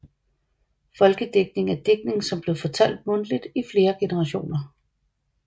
Folkedigtning er digtning som blev fortalt mundtligt i flere generationer